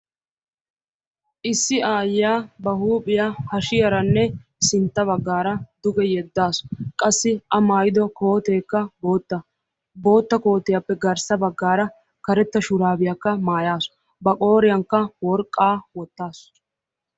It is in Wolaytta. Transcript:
issi aayiyaa ba huuphiya hashiyaranne sinta bagaara duge yedaasu. qassi a maayido koote boota bootta kootiyappe garssa bagaara karetta koottiya wotaasu. ba qooriyankka worqaa wotaasu.